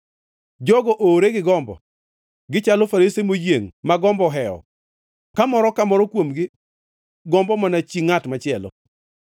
Jogo oowre gi gombo, gichalo farese moyiengʼ, ma gombo ohewo ka moro, ka moro kuomgi gombo mana chi ngʼat machielo.